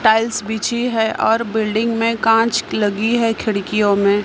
Tiles बिछी है और बिल्डिंग में कांच लगी है खिड़कियों में।